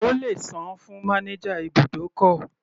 O lè sàn-án fún manager ibùdókọ̀.